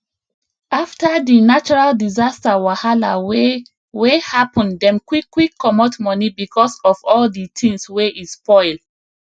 after di natural disaster wahala wey wey happen dem quick quick comot money because of all di things wey e spoil